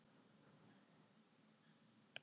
Útfelling vegna efnaveðrunar.